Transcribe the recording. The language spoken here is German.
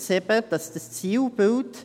Es heisst eben zum Zielbild: